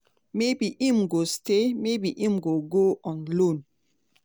maybe im go stay maybe im go go on loan.